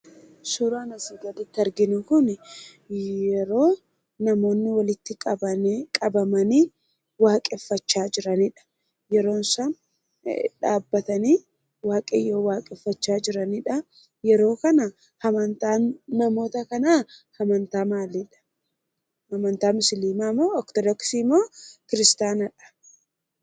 Suuraan asii gaditti arginu kunii, yeroo namoonni walitti qabamanii waaqeffachaa jiranidha. Yeroo isaan dhaabbatanii Waaqayyoon waaqeffachaa jiraniidha. Yeroo kana amantaan namoota kanaa amantaa maaliidhaa? Amantaa musliimaa, Ortodoksii moo kiristaanadha?